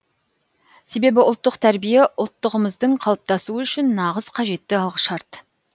себебі ұлттық тәрбие ұлттығымыздың қалыптасуы үшін нағыз қажетті алғышарт